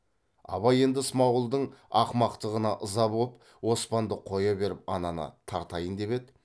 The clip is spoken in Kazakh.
абай енді смағұлдың ақымақтығына ыза боп оспанды қоя беріп ананы тартайын деп еді